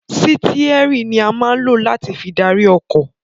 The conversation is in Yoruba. Sítíẹ́rì ní a máa ń lò láti fi darí ọkọ̀.